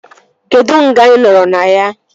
Kedụ nga ị nọrọ na ya?